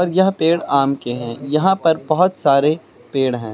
यह पेड़ आम के हैं यहां पर बहोत सारे पेड़ हैं।